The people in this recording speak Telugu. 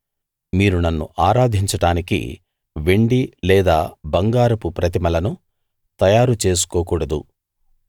మీరు నన్ను ఆరాధించడానికి వెండి లేదా బంగారపు ప్రతిమలను తయారు చేసుకోకూడదు